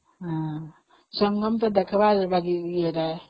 ହଁ, ସଂଗମଟା ଦେଖିବା ଜାଗା କି ସେଇଟା ?